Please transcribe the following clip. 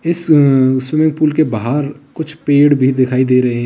इस मम्मम swimming pool के बाहर कुछ पेड़ भी दिखाई दे रहे हैं।